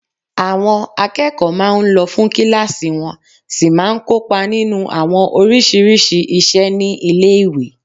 Àwọn akẹ́kọ̀ọ́ máa n lọ fún kílásì wọ́n sì máa n kópa nínu àwọn oríṣiríṣi iṣẹ́ ní ilé-ìwé